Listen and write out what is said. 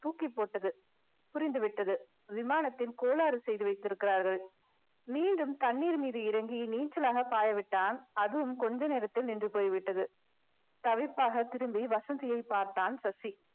தூக்கிப்போட்டது புரிந்து விட்டது விமானத்தில் கோளாறு செய்து வைத்திருக்கிறார்கள் மீண்டும் தண்ணீர் மீது இறங்கி நீச்சலாக பாய விட்டான் அதுவும் கொஞ்ச நேரத்தில் நின்று போய்விட்டது தவிப்பாக திரும்பி வசந்தியை பார்த்தான் சசி